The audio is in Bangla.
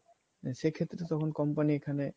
সেক্ষেত্রে তখন company এখানে